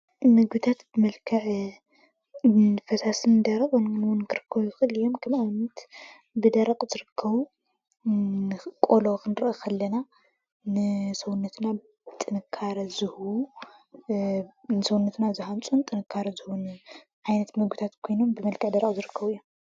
ምግብታት ብመልክዕ ፈሳስን ደረቕን ክርከቡ ይኽእሉ እዮም:: ንኣብነት ብደረቕ ዝርከቡ ቆሎ ክንርኢ ከለና ንሰዉነትና ጥንካረ ዝህቡ ዝሃንፁ እዮም ዓይነት ምግብታት ኮይኖም ብመልክዕ ደረቅ ዝርከቡ እዮም ።